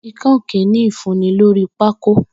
ikán okeene ifunni lori pákó.